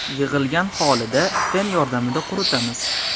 Yig‘ilgan holida fen yordamida quritamiz.